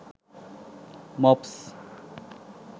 mops